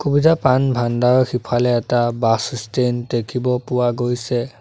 পূজা পান ভাণ্ডাৰ সিফালে এটা বাছ ষ্টেণ্ড দেখিব পোৱা গৈছে।